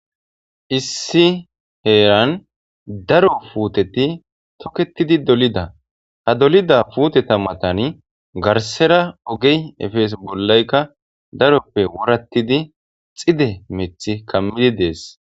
issi heeran daro puuteti toketidi dolida ha dolida puute tammatani garsera ogey efees bollaykka daroppe wurattidi xide mith kammidi dees